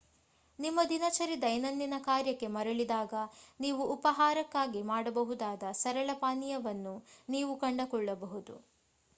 ನಿಮ್ಮ ದಿನಚರಿ ದೈನಂದಿನ ಕಾರ್ಯಕ್ಕೆ ಮರಳಿದಾಗ ನೀವು ಉಪಾಹಾರಕ್ಕಾಗಿ ಮಾಡಬಹುದಾದ ಸರಳ ಪಾನೀಯವನ್ನು ನೀವು ಕಂಡುಕೊಳ್ಳಬಹುದು